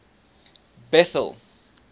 bethal